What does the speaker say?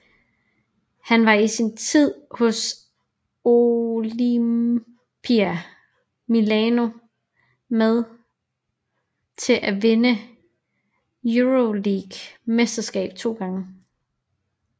Han var i sin tid hos Olimpia Milano med til at vinde Euroleague mesterskabet 2 gange